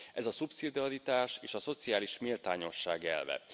Ez a szubszidiaritás és a szociális méltányosság elve.